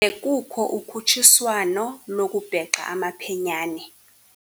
Bekukho ukhutshiswano lokubhexa amaphenyane.